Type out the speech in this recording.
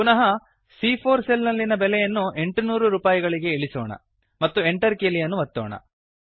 ಪುನಃ ಸಿಎ4 ಸೆಲ್ ನಲ್ಲಿನ ಬೆಲೆಯನ್ನು 800 ರೂಪಾಯಿಗಳಿಗೆ ಇಳಿಸೋಣ ಮತ್ತು Enter ಕೀಲಿಯನ್ನು ಒತ್ತೋಣ